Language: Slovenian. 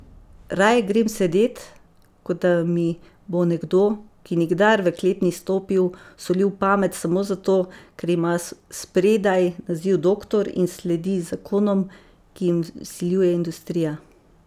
Raje grem sedet, kot da mi bo nekdo, ki nikdar v klet ni stopil, solil pamet, samo zato, ker ima spredaj naziv doktor in sledi zakonom, ki jim vsiljuje industrija.